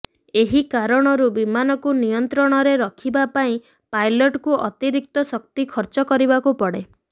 ଏହି କାରଣରୁ ବିମାନକୁ ନିୟନ୍ତ୍ରଣରେ ରଖିବା ପାଇଁ ପାଇଲଟ୍କୁ ଅତିରିକ୍ତ ଶକ୍ତି ଖର୍ଚ୍ଚ କରିବାକୁ ପଡ଼େ